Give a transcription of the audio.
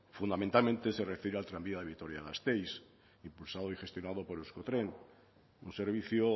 fundamentalmente se refiere al tranvía de vitoria gasteiz impulsado y gestionado por euskotren un servicio